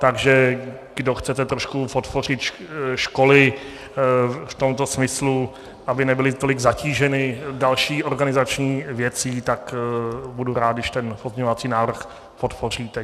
Takže kdo chcete trošku podpořit školy v tomto smyslu, aby nebyly tolik zatíženy další organizační věcí, tak budu rád, když ten pozměňovací návrh podpoříte.